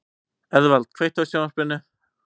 Eðvald, kveiktu á sjónvarpinu.